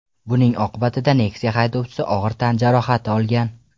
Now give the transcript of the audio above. Buning oqibatida Nexia haydovchisi og‘ir tan jarohati olgan.